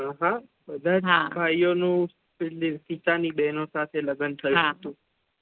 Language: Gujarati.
હા ભાઈઓ નુ પિતા ની બેહનો સાથે લગ્ન થાયુ